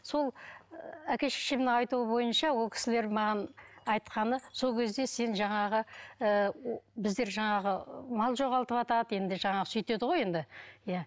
сол әке шешемнің айтуы бойынша ол кісілер маған айтқаны сол кезде сен жаңағы ы біздер жаңағы мал жоғалтыватады енді жаңағы сөйтеді ғой енді иә